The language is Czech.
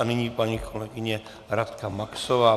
A nyní paní kolegyně Radka Maxová.